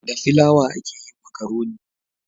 Da filawa a ke yin makaroni